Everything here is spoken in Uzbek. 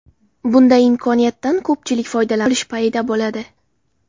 Bunday imkoniyatdan ko‘pchilik foydalanib qolish payida bo‘ladi.